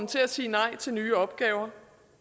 til at sige nej til nye opgaver